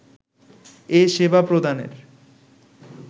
এ সেবা প্রদানের